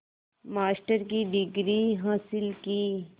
master की degree हासिल की